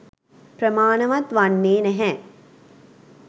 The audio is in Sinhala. ප්‍රමාණවත් වන්නේ නැහැ